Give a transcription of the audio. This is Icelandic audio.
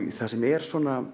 það sem er